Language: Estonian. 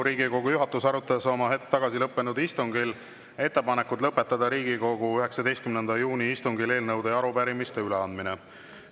Riigikogu juhatus arutas oma hetk tagasi lõppenud istungil ettepanekut lõpetada Riigikogu 19. juuni istungil eelnõude ja arupärimiste üleandmine.